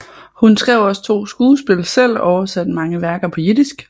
Hun skrev også to skuespil selv og oversatte mange værker på jiddisk